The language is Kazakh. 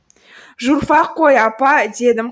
журфак қой апа дедім